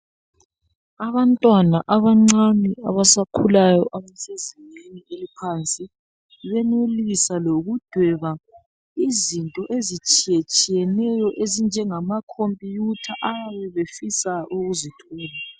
Abantwana abancane abasakhulayo abasezingeni eliphansi benelisa lokudweba izinto ezitshiye tshiyeneyo ezinjengama computer ayabe efisa ukuzithola.